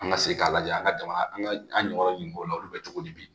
An ka segin k'a lajɛ an ka jamana an ɲɔgɔn o la olu bɛ cogo di